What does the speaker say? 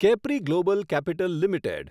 Capri global capital limited